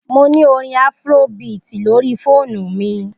Mo ni orin Afrobeat lori foonu mi.